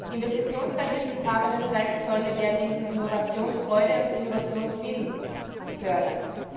Investitionsbeihilfen im Rahmen der zweiten Säule werden Innovationsfreude und Innovationswillen fördern.